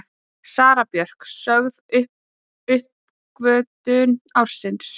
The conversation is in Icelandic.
Sara Björk sögð uppgötvun ársins